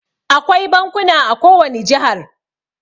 Akwai bankuna a ko wani jihar.